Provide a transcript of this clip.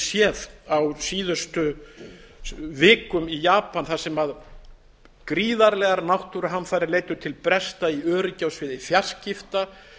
séð á síðustu vikum í japan þar sem gríðarlegar náttúruhamfarir leiddu til bresta í öryggi á sviði fjarskipta